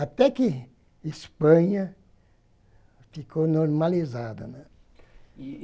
Até que Espanha ficou normalizada, né. E